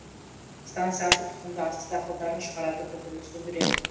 станция асыл тұқымды астық дақылдарын шығарады көкөніс өндіреді